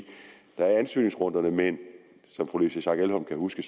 der er ansøgningsrunderne men som fru louise schack elholm kan huske